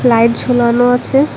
Light ঝুলানো আছে।